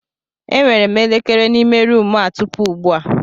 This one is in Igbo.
Enwere m elekere n'ime ruumu a tupu ugbu a.